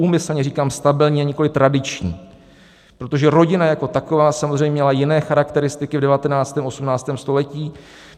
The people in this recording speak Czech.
Úmyslně říkám stabilní, a nikoliv tradiční, protože rodina jako taková samozřejmě měla jiné charakteristiky v 19., 18. století.